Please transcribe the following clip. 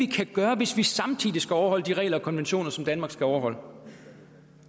kan gøre hvis man samtidig skal overholde de regler og konventioner som danmark skal overholde